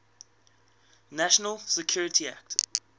national security act